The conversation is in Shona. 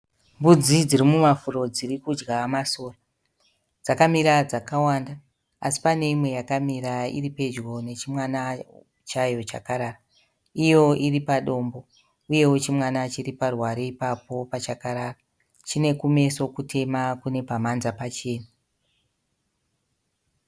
Mbudzi dzirimumafuro dzirikudya masora. Dzakamira dzakawanda asi pane imwe yakamira iripedyo nechimwana chayo chakarara. Iyo iripadombo uyewo chimwana chiriparuware ipapo pachakarara. Chinekumeso kutema kune pamhanza pachena.